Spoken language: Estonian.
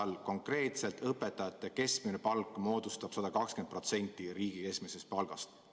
Öelge konkreetselt, mis aastal on õpetajate keskmine palk 120% riigi keskmisest palgast.